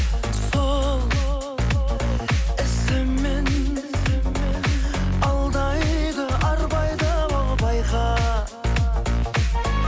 сол ісімен алдайды арбайды ол байқа байқа